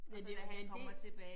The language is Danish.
Men det var da en del